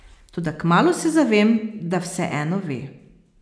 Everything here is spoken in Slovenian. Toda kmalu se zavem, da vseeno ve.